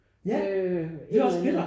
Øh et eller andet